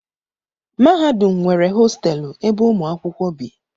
mahadum nwere hostelụ ebe ụmụ akwụkwọ bi